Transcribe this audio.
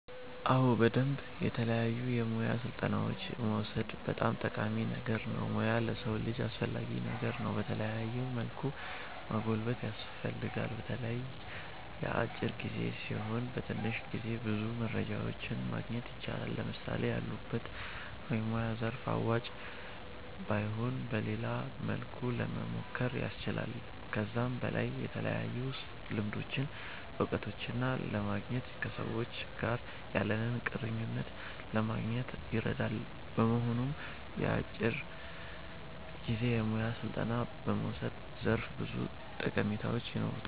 አዎ በደምብ የተለያዩ የሙያ ስልጠናዎችን መዉሰድ በጣም ጠቃሚ ነገር ነዉ ሙያ ለሰዉ ልጅ አስፈላጊ ነገር ነዉ በተለያዩ መልኩ ማጎልበት ያስፈልጋል። በተለይ የአጫጭር ጊዜ ሲሆኑ በትንሽ ጊዜ ብዙ ሙያዎችን ማግኘት ይቻላል። ለምሳሌ ያሉበት የሙያ ዘርፍ አዋጭ ባይሆን በሌላ መልኩ ለሞሞከር ያስችላል። ከዛም በላይ የተለያዩ ልምዶችን እዉቀቶችን ለማግኘት ከሰዎች ጋር ያለንን ቁርኝት ለማጎልበት ይረዳል። በመሆኑም የአጫጭር ጊዜ የሙያ ስልጠና መዉሰድ ዘርፈ ብዙ ጠቀሜታዎች ይኖሩታል